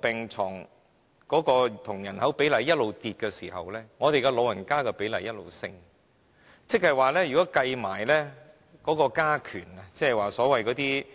病床對人口比例一直下跌，長者的人口比例卻一直上升，如果計算"加權"在內，即